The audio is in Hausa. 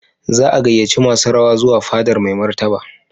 Za a gayyaci masu rawa zuwa fadar Mai Martaba.